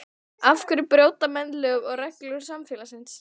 Af hverja brjóta menn lög og reglur samfélagsins?